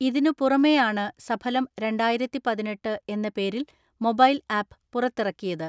ഇതിനു പുറമേയാണ് സഫലം രണ്ടായിരത്തിപതിനെട്ട് എന്ന പേരിൽ മൊബൈൽ ആപ്പ് പുറത്തിറക്കിയത്.